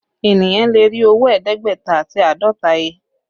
Eniyan lè rí owó ẹ̀ẹ́dẹ́gbẹ̀ta àti àádọ́ta he